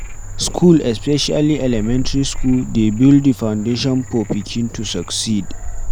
School, especially elementry school dey build di foundation for pikin to succeed